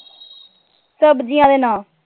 ਸਬਜ਼ੀਆਂ ਦੇ ਨਾਂ।